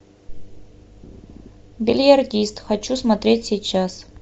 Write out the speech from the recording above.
бильярдист хочу смотреть сейчас